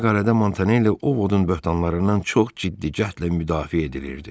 Bu məqalədə Montanelli Ovodun böhtanlarından çox ciddi cəhdlə müdafiə edilirdi.